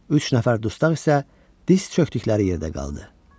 Üç nəfər dustaq isə diz çökdükləri yerdə qaldı.